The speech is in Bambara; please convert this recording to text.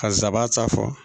Ka nsabaara ta fɔ